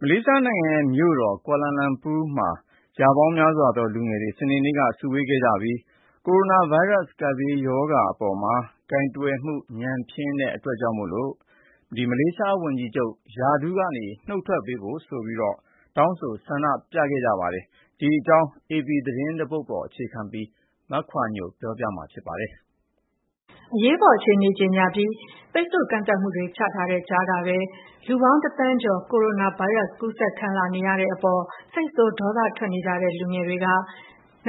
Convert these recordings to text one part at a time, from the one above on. မလေးရှားနိုင်ငံရဲ့မြို့တော် ကွာလာလာမ်ပူမြို့လယ်မှာ ရာပေါင်းများစွာသော လူငယ်တွေ စနေနေ့က စုဝေးခဲ့ကြပြီး ကိုရိုနာဗိုင်းရပ်စ် ကပ်ရောဂါဘေးအပေါ် ညံ့ဖျင်းတဲ့စီမံဆောင်ရွက်မှုတွေအတွက် ဝန်ကြီးချုပ် ရာထူးကနုတ်ထွက်ပေးဖို့ တောင်းဆို ဆန္ဒပြခဲ့ကြပါတယ်။ ဒီအကြောင်း အေပီသတင်း တပုဒ်ကို မခွာညို ပြောပြပေးမှာပါ။ အရေးပေါ်အခြေအနေကြေညာပြီး ပိတ်ဆို့ကန့်သတ်မှုတွေချထားတဲ့ကြားကပဲ လူပေါင်း တသန်းကျော် ကူးစက်ခံလာနေရတဲ့အပေါ် စိတ်ဆိုး ဒေါသထွက်နေကြတဲ့လူငယ်တွေက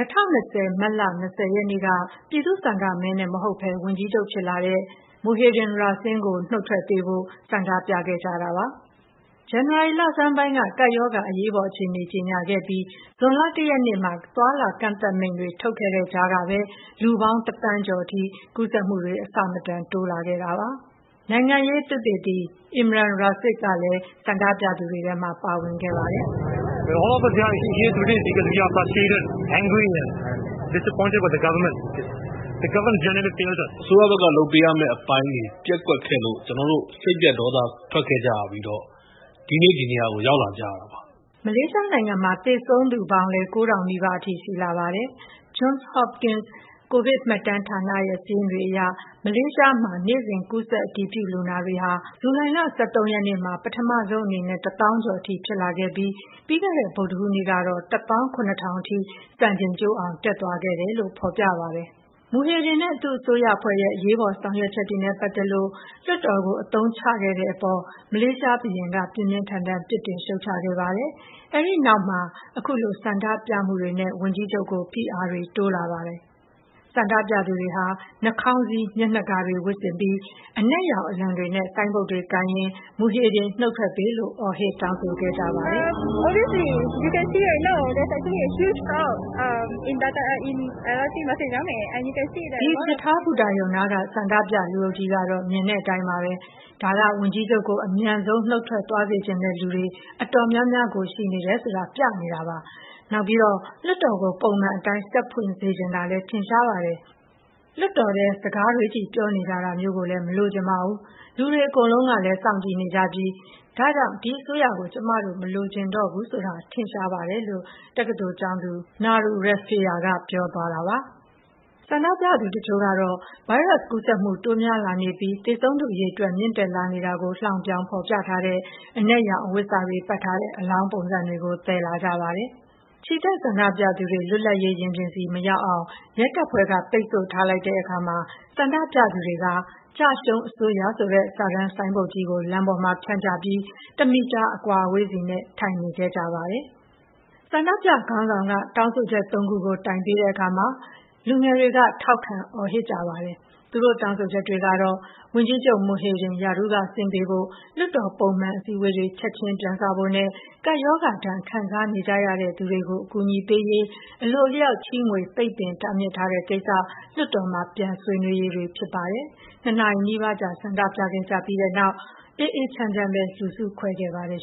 ၂၀၂၀ မတ်လ ၂၀ ရက်နေ့ က ပြည်သူ့ဆန္ဒမဲနဲ့မဟုတ်ဘဲ ဝန်ကြီးချုပ်ဖြစ်လာတဲ့ မူဟေဒင် ရာဆင်း ကို နုတ်ထွက်ပေးဖို့ ဆန္ဒပြခဲ့ ကြတာပါ။ ဇန်နဝါရီလဆန်းပိုင်းက ကပ်ရောဂါအရေးပေါ်အခြေအနေကြေညာခဲ့ပြီး ဇွန်လ ၁ ရက်နေ့မှာသွားလာမှုကန့်သတ်မိန့်တွေ ထုတ်ခဲ့တဲ့ကြားမှာပဲ လူတသန်းကျော်အထိ ကူးစက်မှုတွေအဆမတန်တိုးလာခဲ့တာပါ။ နိုင်ငံရေးဆိုင်ရာသုတေသီတဦးဖြစ်တဲ့ Imran Rasid လည်း ဆန္ဒပြသူတွေထဲမှာ ပါဝင်ခဲ့ပါတယ်။ “အစိုးရဘက်က လုပ်ပေးရမယ့်အပိုင်းတွေ ပျက်ကွက်ခဲ့လို့ ကျနော်တို့ စိတ်ပျက် ဒေါသထွက်ခဲ့ကြရပြီး ဒီနေ့ ဒီနေရာကို ရောက်လာကြတာပါ။” မလေးရှားနိုင်ငံမှာ သေဆုံးသူပေါင်းလည်း ၉ ထောင် နီးပါးအထိ ရှိလာပါတယ်။ Johns Hopkins ကိုဗစ်မှတ်တမ်းဌာနရဲ့စာရင်းတွေအရ မလေးရှားနိုင်ငံမှာ နေ့စဉ်ကူးစက်အတည်ပြုလူနာတွေဟာ ဇူလိုင် ၁၃ ရက်နေ့မှာ ပထမဆုံးအနေနဲ့ ၁ သောင်းကျော်အထိ ဖြစ်လာပြီး ပြီးခဲ့တဲ့ဗုဒ္ဓဟူးနေ့ကတော့ ၁ သောင်း၊၇ ထောင်အထိ စံချိန်ကျိုးအောင် တက်သွားခဲ့တယ်လို့ဖော်ပြထားပါတယ်။ မူဟီဒင်နဲ့သူ့အစိုးရအဖွဲ့ရဲ့ အရေးပေါ်ဆောင်ရွက်ချက်တွေနဲ့ပတ်သက်လို့ လွှတ်တော်ကို အသုံးချခဲ့တဲ့အပေါ် မလေးရှားဘုရင်က ပြင်းပြင်းထန်ထန်ပြစ်တင်ရှုတ်ချခဲ့ပါတယ်။ အဲဒီနောက်မှာ အခုလို ဆန္ဒပြမှုတွေနဲ့ ဝန်ကြီးချုပ်ကို ဖိအားတွေ တိုးလာပါတယ်။ ဆန္ဒပြသူတွေဟာ နှာခေါင်းစည်း၊ မျက်နှာကာတွေ ဝတ်ဆင်ပြီး အနက်ရောင်အလံတွေနဲ့ ဆိုင်းဘုတ်တွေကို ကိုင်ရင်း မူဟီဒင်နုတ်ထွက်ပေး” လို့ အော်ဟစ်တောင်းဆိုခဲ့ကြပါတယ်။ တက္ကသိုလ်ကျောင်းသူ Nurul Rifayah ကလည်း အခုလို ပြောပါတယ်။ “ဒီရထားဘူတာရုံနားက ဆန္ဒပြလူအုပ်ကြီးကတော့ မြင်တဲ့အတိုင်းပါပဲ။ ဒါက ဝန်ကြီးချုပ်ကို အမြန် ဆုံး နုတ်ထွက်သွားစေချင်တဲ့ လူတွေ တော်တော်များများရှိတာကို ပြနေတာပါ။ နောက်ပြီးတော့ လွှတ်တော်ကို ပုံမှန်အတိုင်း ဆက်ဖွင့်စေချင်တာလည်း ထင်ရှားပါတယ်။ နောက်ပြီး လွှတ်တော်ထဲ စကားတွေချည့် ပြောနေကြတာ မလိုချင်ကြပါဘူး။ လူတွေအကုန်လုံးကလည်း စောင့်ကြည့်နေကြပြီး ဒါကြောင့် ဒီအစိုးရကို ကျမတို့ မလိုချင်တော့ဘူးဆိုတာ ထင်ရှားပါတယ်။” ဆန္ဒပြသူတချို့ကတော့ ဗိုင်းရပ်စ်ကူးစက်မှုတိုးများလာနေပြီး သေဆုံးသူအရေအတွက်မြင့်တက်လာ နေတာကို လှောင်ပြောင်ဖော်ပြထားတဲ့ အဖြူရောင်အဝတ်စတွေပတ်ထားတဲ့ အလောင်းပုံစံတွေကို သယ်လာကြပါတယ်။ ချီတက်ဆန္ဒပြသူတွေ လွတ်လပ်ရေး ရင်ပြင်ဆီမရောက်အောင် ရဲတပ်ဖွဲ့က ပိတ်ဆို့ထားလိုက်တဲ့အခါ ဆန္ဒပြသူတွေက ကျရှုံးအစိုးရ ဆိုတဲ့ စာတမ်းဆိုင်းဘုတ်ကြီးကို လမ်းပေါ်မှာ ဖြန့်ချပြီး တမီတာအကွာအဝေးနဲ့ လမ်းပေါ်မှာ ထိုင်နေခဲ့ကြပါတယ်။ ဆန္ဒပြခေါင်းဆောင်က တောင်းဆိုချက်သုံးခုကို တိုင်ပေးတဲ့အခါမှာ လူငယ်တွေက ထောက်ခံ အော်ဟစ်ကြပါတယ်။ သူတို့တောင်းဆိုချက်တွေကတော့ ဝန်ကြီးချုပ် မူဟစ်ဒင် ရာထူးကဆင်းပေးဖို့၊ လွှတ်တော်ပုံမှန်အစည်းအဝေးတွေ ချက်ခြင်းပြန်စဖို့နဲ့ ကပ်ရောဂါဒဏ်ခံစားနေကြရသူတွေကို အကူအညီပေးရေး အလိုအလျောက်ချေးငွေ တားမြစ်ပိတ်ပင်ထားတဲ့ကိစ္စ (လွှတ်တော်မှာ ပြန်ဆွေးနွေးရေး) တွေ ဖြစ်ပါတယ်။ ၂ နာရီနီးပါးကြာ ဆန္ဒပြခဲ့ကြပြီးတဲ့နောက် အေးအေးချမ်းချမ်းပဲ လူစုခွဲခဲ့ပါတယ်